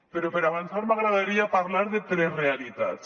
però per avançar m’agradaria parlar de tres realitats